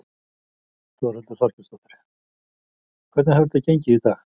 Þórhildur Þorkelsdóttir: Hvernig hefur þetta gengið í dag?